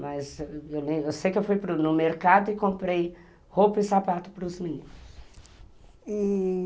Mas eu sei que eu fui ao mercado e comprei roupa e sapato para os meninos. E...